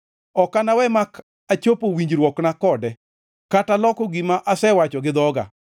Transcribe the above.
Ok anawe mak achopo winjruokna kode kata loko gima asewacho gi dhoga.